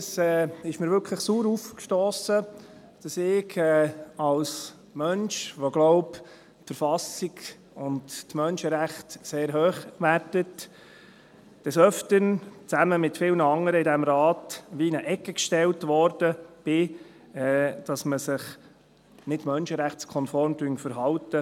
Es ist mir wirklich sauer aufgestossen, dass ich als Mensch, der, so glaube ich, die Verfassung und die Menschenrechte sehr hoch wertet, des Öfteren – zusammen mit vielen anderen in diesem Rat – in eine Ecke gestellt wurde, weil man sich mit diesem Gesetz nicht menschenrechtskonform verhalte.